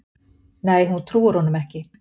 Nei hún trúir honum ekki.